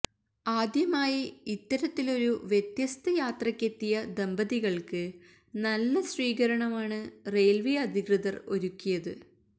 ആദ്യമായി ഇത്തരത്തിലൊരു വ്യത്യസ്ത യാത്രക്കെത്തിയ ദമ്പതികള്ക്ക് നല്ല സ്വീകരണമാണ് റെയില്വേ അധികൃതര് ഒരുക്കിയത്